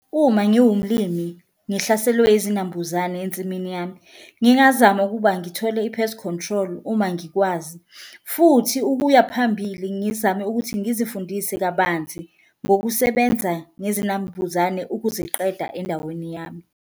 Uma ngiwumlimi ngihlaselwe izinambuzane ensimini yami ngingazama ukuba ngithole i-pest control uma ngikwazi, futhi ukuya phambili ngizame ukuthi ngizifundise kabanzi ngokusebenza ngezinambuzane ukuziqeda endaweni yami.